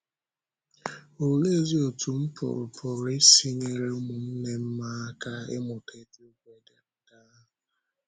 Òleezi otú m pụrụ pụrụ isi nyere ụmụnne m aka ịmụta eziokwu ederede ahụ?